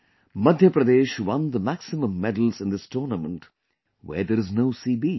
Madhya Pradesh won the maximum medals in this tournament, where there is no sea beach